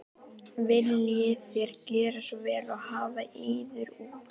Viljið þér gjöra svo vel og hafa yður út.